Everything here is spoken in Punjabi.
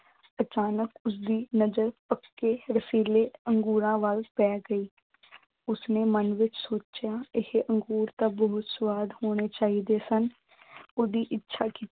ਅਚਾਨਕ ਉਸਦੀ ਨਜ਼ਰ ਪੱਕੇ ਰਸੀਲੇ ਅੰਗੂਰਾਂ ਵੱਲ ਪੈ ਗਈ। ਉਸਨੇ ਮਨ ਵਿੱਚ ਸੋਚਿਆ, ਇਹ ਅੰਗੂਰ ਤਾਂ ਬਹੁਤ ਸਵਾਦ ਹੋਣੇ ਚਾਹੀਦੇ ਹਨ। ਉਸਨੇ ਇੱਛਾ